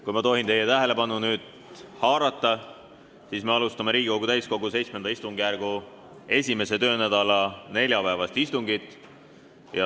Kui ma tohin nüüd teie tähelepanu haarata, siis me alustame Riigikogu täiskogu VII istungjärgu esimese töönädala neljapäevast istungit.